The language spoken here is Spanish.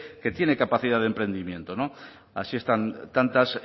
que tiene capacidad de emprendimiento así están tantas